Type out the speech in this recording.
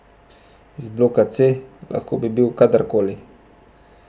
Iz bloka C, lahko bi bil kdorkoli.